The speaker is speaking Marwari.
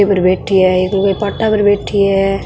पर बैठी है एक लुगाई पाटा पर बैठी है।